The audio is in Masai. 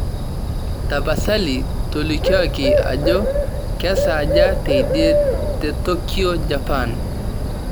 tapasali tolikioki ajo kesaaja teidie te tokyo japan